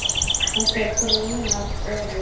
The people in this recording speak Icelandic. Þessar greinar eru